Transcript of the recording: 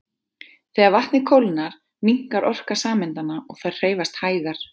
Þegar vatnið kólnar minnkar orka sameindanna og þær hreyfast hægar.